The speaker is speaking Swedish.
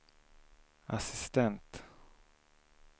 assistent